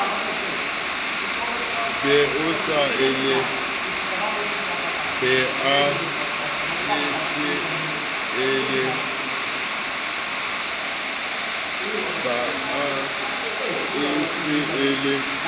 ba e se e le